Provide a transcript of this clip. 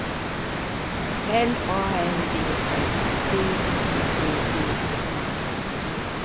L A N D S B Y G D E N